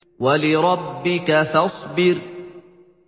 وَلِرَبِّكَ فَاصْبِرْ